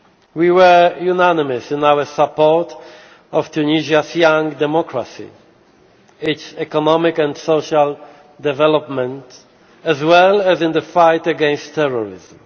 lost. We were unanimous in our support of Tunisia's young democracy, its economic and social development, as well as in the fight against terrorism.